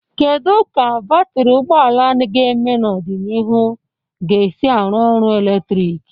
Kedu ka batrị ụgbọ ala ga-eme n'ọdịnihu ga-esi arụ ọrụ eletrik?